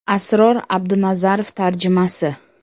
Asror Abdunazarov tarjimasi !